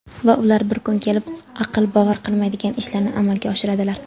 Va ular bir kun kelib aql bovar qilmaydigan ishlarni amalga oshiradilar.